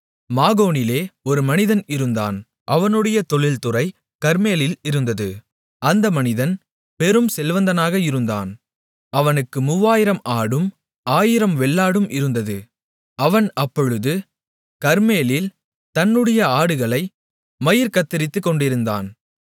மாகோனிலே ஒரு மனிதன் இருந்தான் அவனுடைய தொழில்துறை கர்மேலில் இருந்தது அந்த மனிதன் பெரும் செல்வந்தனாக இருந்தான் அவனுக்கு 3000 ஆடும் 1000 வெள்ளாடும் இருந்தது அவன் அப்பொழுது கர்மேலில் தன்னுடைய ஆடுகளை மயிர் கத்தரித்துக்கொண்டிருந்தான்